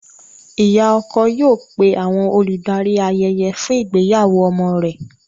Ìyá ọkọ yóò pé àwọn olùdarí ayẹyẹ fún ìgbéyàwó ọmọ rẹ̀.